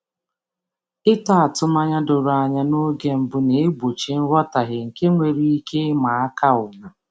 Ịtọ atụmanya doro anya n’oge mbụ na-egbochi nghọtahie nke nwere ike ịma aka ugwu.